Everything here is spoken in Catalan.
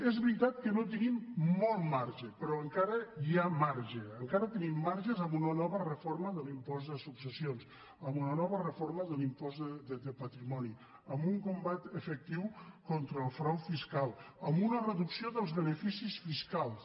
és veritat que no tenim molt marge però encara hi ha marge encara tenim marges amb una nova reforma de l’impost de successions amb una nova reforma de l’impost de patrimoni amb un combat efectiu contra el frau fiscal amb una reducció dels beneficis fiscals